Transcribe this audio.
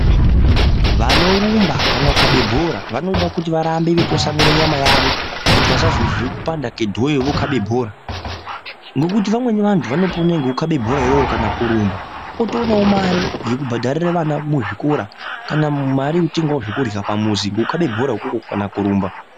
Vanorumba kana kukabe bhora vanoda kuti varambe vechitwasanira nyama yavo kuti vasazozwe kupanda kwedhoyo vokabe bhora. Ngekuti vamweni vantu vanopona nekukabe bhora iroro kana kurumba otoonavo mare dzekubhedharire vana muzvikora. Kana mare yekutengavo zvekurya pamuzi ngekukabe dhora ikoko kana kurumba.